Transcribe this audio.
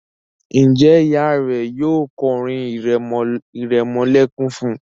Njé Ìyá rẹ yóò ko orin iremolekun fún?